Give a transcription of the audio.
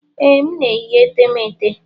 Ee, m na-eyi etemeete.